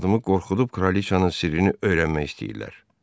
Arvadımı qorxudub kralıçanın sirrini öyrənmək istəyirlər.